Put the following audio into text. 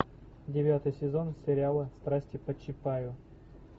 девятый сезон сериала страсти по чапаю